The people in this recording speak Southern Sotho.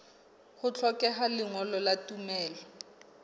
ho hlokeha lengolo la tumello